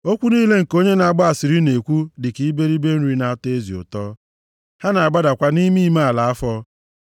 Okwu niile nke onye na-agba asịrị na-ekwu dịka iberibe nri nʼatọ ezi ụtọ, ha na-agbadakwa nʼime ime ala afọ.